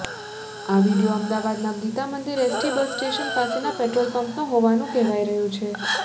આ વીડિયો અમદાવાદના Gitamandir ST bus station પાસેના પેટ્રોલ પંપનો હોવાનું કહેવાઈ રહ્યું છે